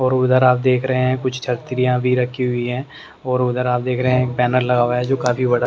और उधर आप देख रहे हैं कुछ छतरियां भी रखी हुई है और उधर आप देख रहे हैं पैनल लगा हुआ है जो काफी बड़ा--